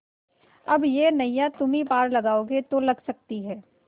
अब यह नैया तुम्ही पार लगाओगे तो लग सकती है